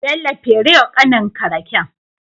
Bello fere wa kanin ka raken